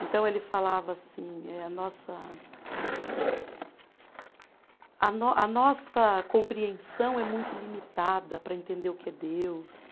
Então ele falava assim eh, a nossa, a nó a nossa compreensão é muito limitada para entender o que é Deus.